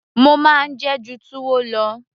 mo máa ń jẹ ẹ́ ju túwó lọ